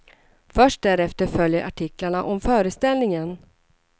Först därefter följer artiklarna om föreställningen.